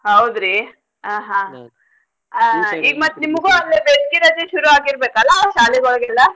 ಹೌದ್ರಿ ಹಾ ಹಾ ಆ ಈಗ್ ಮತ್ತ್ ನಿಮಗೂ ಅಲ್ಲೆ ಬೇಸ್ಗಿ ರಜೆ ಶುರುವಾಗಿರ್ಬೇಕಲ್ಲ ಶಾಲೆ ಒಳ್ಗೆಲ್ಲ.